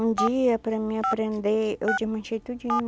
Um dia, para mim aprender, eu desmanchei tudinho.